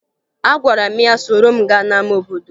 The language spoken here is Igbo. Agwara m ya soro m gaa n'ama obodo